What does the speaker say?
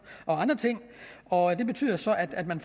og andre ting og det betyder så at man